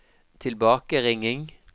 tilbakeringing